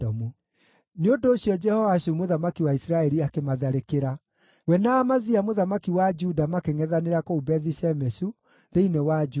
Nĩ ũndũ ũcio Jehoashu mũthamaki wa Isiraeli akĩmatharĩkĩra. We na Amazia mũthamaki wa Juda makĩngʼethanĩra kũu Bethi-Shemeshu thĩinĩ wa Juda.